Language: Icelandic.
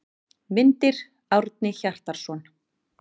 Myndir: Árni Hjartarson.